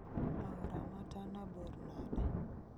Aora ma tana bor nade